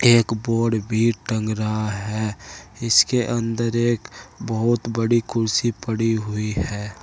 एक बोर्ड भी टंग रहा है इसके अंदर एक बहुत बड़ी कुर्सी पड़ी हुई है।